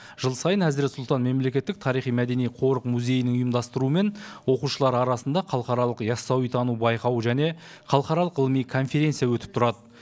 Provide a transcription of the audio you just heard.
жыл сайын әзірет сұлтан мемлекеттік тарихи мәдени қорық музейінің ұйымдастыруымен оқушылар арасында халықаралық ясауитану байқауы және халықаралық ғылыми конференция өтіп тұрады